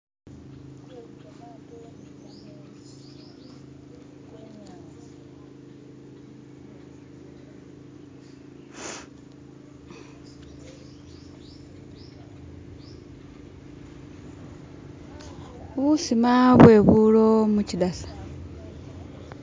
Busiima bwebulo muchidasa.